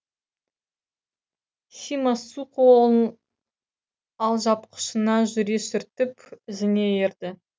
сима су қолын алжапқышына жүре сүртіп ізінен ерді